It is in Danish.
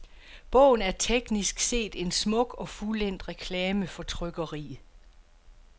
Bogen er teknisk set en smuk og fuldendt reklame for trykkeriet.